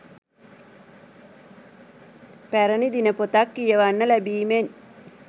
පැරණි දිනපොතක් කියවන්න ලැබීමෙන්